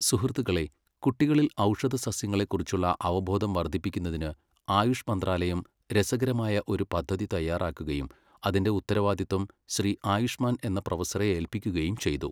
സുഹൃത്തുക്കളെ കുട്ടികളിൽ ഔഷധസസ്യങ്ങളെ കുറിച്ചുള്ള അവബോധം വർദ്ധിപ്പിക്കുന്നതിന് ആയുഷ് മന്ത്രാലയം രസകരമായ ഒരു പദ്ധതി തയ്യാറാക്കുകയും അതിന്റെ ഉത്തരവാദിത്വം ശ്രീ ആയുഷ്മാൻ എന്ന പ്രൊഫസറെ ഏൽപ്പിക്കുകയും ചെയ്തു.